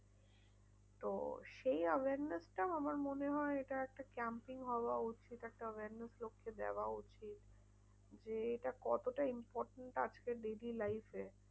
তো সেই awareness টা আমার মনে হয় এটা একটা camping হওয়া উচিত। একটা awareness লোককে দেওয়া উচিত। যে এটা কতটা important আজকের busy life এ।